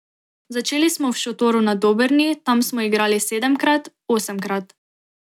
Začeli smo v šotoru na Doberni, tam smo igrali sedemkrat, osemkrat.